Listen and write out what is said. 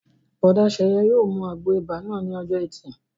Bùrọ̀dá Sẹ̀yẹ yóò mu àgbo ibà náà ní ọjọ́ ẹtì